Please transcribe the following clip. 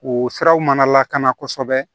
O siraw mana lakana kosɛbɛ